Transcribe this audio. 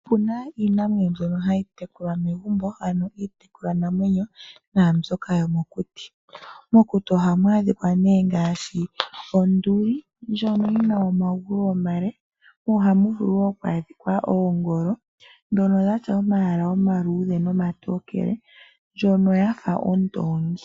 Opu na iinamwenyo mbyoka hayi tekulwa momagumbo nosho woo iiyamakuti. Mokuti oha mu adhika onduli ndjono yi na omagulu omale nosho woo ongolo ndjono yi na omayala omaluudhe nomatookele yo oyafa ondoongi.